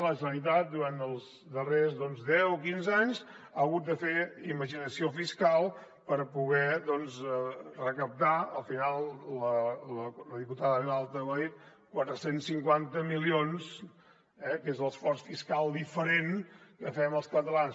la generalitat durant els darrers deu o quinze anys ha hagut de fer imaginació fiscal per poder recaptar al final la diputada vilalta ho ha dit quatre cents i cinquanta milions eh que és l’esforç fiscal diferent que fem els catalans